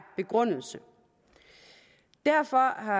begrundelse derfor